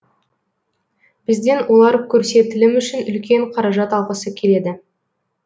бізден олар көрсетілім үшін үлкен қаражат алғысы келеді